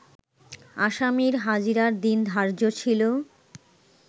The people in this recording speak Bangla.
আসামির হাজিরার দিন ধার্য ছিল